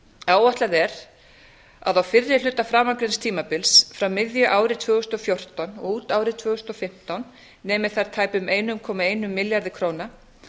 áætlað er að á fyrri hluta framangreinds tímabils frá miðju ári tvö þúsund og fjórtán og út árið tvö þúsund og fimmtán nemi þær tæpum einum komma einum milljarði króna